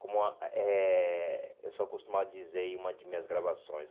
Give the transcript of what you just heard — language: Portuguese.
Como a eh eu sou acostumado a dizer em uma de minhas gravações.